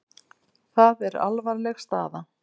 Það er alvarleg staða.